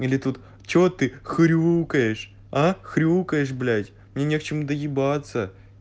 или тут чего ты хрюкаешь а хрюкаешь блять мне не к чему доебаться